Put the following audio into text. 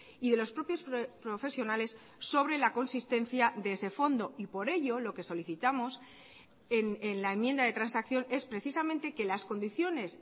y de los propios profesionales sobre la consistencia de ese fondo y por ello lo que solicitamos en la enmienda de transacción es precisamente que las condiciones